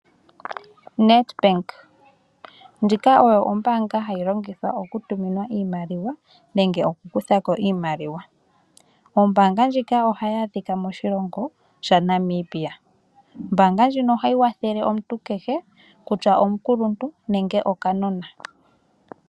Nedbank, ndjika oyo ombaanga hayi longithwa okutuma iimaliwa nenge okukutha ko iimaliwa. Ombaanga ndjika ohayi adhika moshikongo shaNamibia. Ombaanga ndjika ohayi kwathele omuntu kehe kutya omukuluntu nenge okanona.